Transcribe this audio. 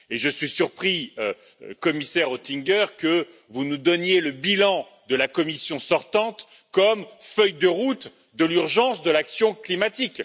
Et je suis surpris, Monsieur le Commissaire Oettinger, que vous nous donniez le bilan de la Commission sortante comme feuille de route de l'urgence de l'action climatique.